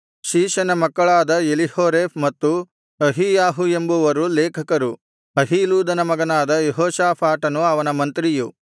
ಶೀಷನ ಮಕ್ಕಳಾದ ಎಲೀಹೋರೇಫ್ ಮತ್ತು ಅಹೀಯಾಹು ಎಂಬುವರು ಲೇಖಕರು ಅಹೀಲೂದನ ಮಗನಾದ ಯೆಹೋಷಾಫಾಟನು ಅವನ ಮಂತ್ರಿಯು